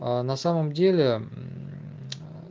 на самом деле